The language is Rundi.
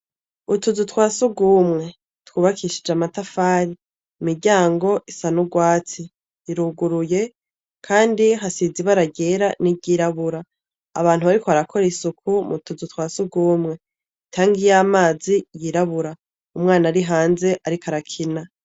Utuzu twa sugumwe tw’ubakishije amatafari, imiryango isa n’urwatsi iruguruye kandi hasize ibara ryera niryirabura. Abantu bariko barakora isuku mu tuzu twa sugumwe, itangi yamazi y’irabura , umwana ari hanze ariko arakina.